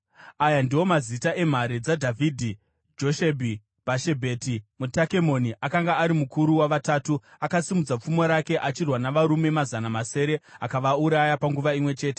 Aya ndiwo mazita emhare dzaDhavhidhi: Joshebhi-Bhashebheti, muTakemoni, akanga ari mukuru waVatatu; akasimudza pfumo rake achirwa navarume mazana masere, akavauraya panguva imwe chete.